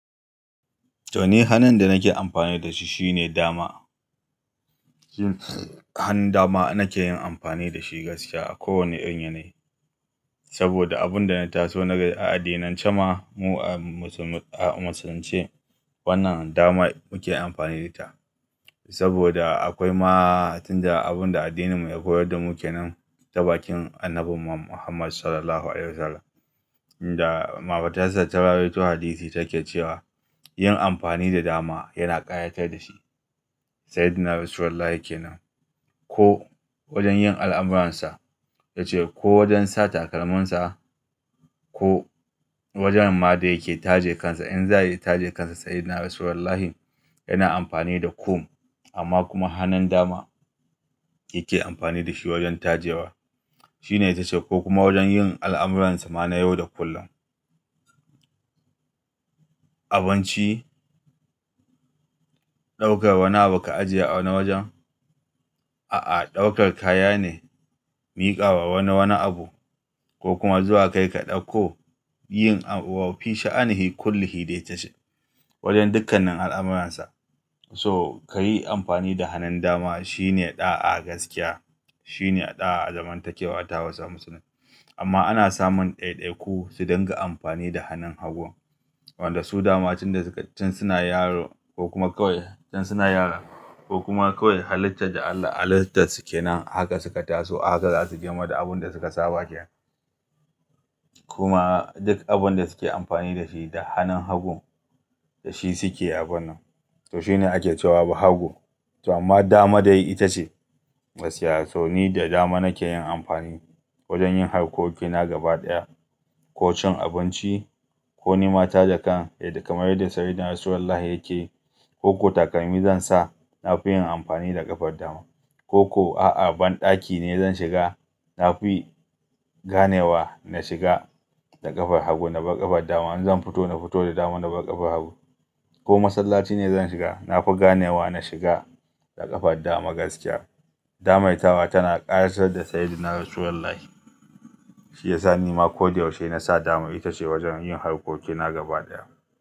To ni hanin da nake amfani da shi shine dama. Hanun dama nake yin amfani da shi gaskiya a kowane irin yanayi. Saboda abun da na taso na gani a addinance ma mu a musul-musulunce wannan dama muke yin amfani da ita. Saboda akwai ma tun da abun da addinin mu ya koyar da muke nan ta bakin annabi Muhammad sallallahu alaihi wasallam da mahaifarsa ta rawaito hadisi take cewa yin amfani da dama yana ƙayatar da shi. Sayyidina rasulullahi ke nan ko wajen yin al'amuransa, tace ko wajen sa takalminsa ko wajen ma da yake taje kansa in za ta je kansa sayyidina rasulullahi yana amfani da kum amma kuma hannun dama yake amfani da shi wajen tajewa. Shine ta ce ko kuma wajen yin al'amuransa ma na yau da kullum. Abinci, ɗaukar wani abu ka ajiye a wani wajen, a'a ɗaukar kaya ne, miƙawa wani wani abu ko kuma zuwa kai ka ɗauko yin a wafi sha'anihi kullu hi dai ta shi. Wajen dukkanin al'amuransa so ka yi amfani da hanin dama shine ɗa a gaskiya. Shine ɗa a zaman takewa a tawasul musulmai. Amma ana samun ɗaiɗaiku su dinga amfani da hannun hagun wanda su dama tun da suna yaro ko kuma kawai tun suna yara ko kuma kawai halittar da Allah halittarsu ke nan ahaka suka taso ahaka za su girma da abun da suka saba yake. Kuma duk abun da suke amfani da shi da hannun hagun da shi suke abunnan. To shine ake cewa bahago. To amma dama dai ita ce gaskiya. To ni da dama nake yin amfani wajen yin harkokina gaba ɗaya ko cin abinci ko ni mata da kan ya kamari da sayyidina rasulullahi yake yi ko ki takalmi zan sa na fi yin amfani da ƙafar dama. Ko ko a'a banɗaki ne zan shiga na fi ganewa na shiga da ƙafar hagu na bar ƙafar dama in zan fito na fito da dama na bar ƙafar hagu. Ko masallaci ne zan shiga na fi ganewa na shiga da ƙafar dama gaskiya. Damar tawa tana ƙayatar da sayyidina rasulullahi. Shi yasa ni ma ko da yaushe na sa dama ita ce wajen yin harkokina gaba ɗaya.